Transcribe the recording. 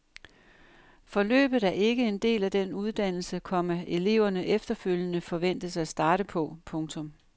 Forløbet er ikke en del af den uddannelse, komma eleverne efterfølgende forventes at starte på. punktum